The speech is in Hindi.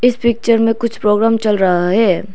इस पिक्चर में कुछ प्रोग्राम चल रहा है।